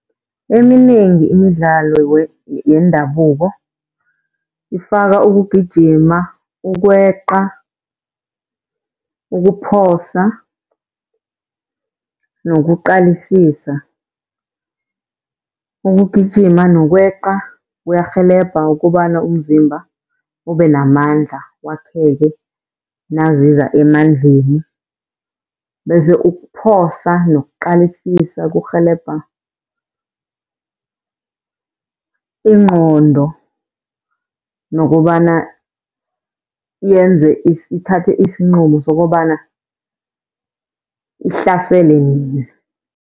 Eminengi imidlalo yendabuko ifaka ukugijima, ukweqa, ukuphosa nokuqalisisa. Ukugijima nokweqa kuyarhelebha ukobana umzimba ube namandla wakheke naziza emandleni. Bese ukuphosa nokuqalisisa kurhelebha ingqondo nokobana yenze ithathe isinqumo sokobana ihlasele nini.